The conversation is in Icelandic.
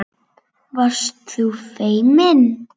Varst þú feimin?